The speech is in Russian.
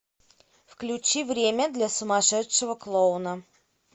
включи время для сумасшедшего клоуна